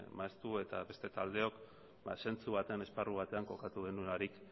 maeztu eta beste taldeok ba zentzu batean esparru batean kokatu denonarik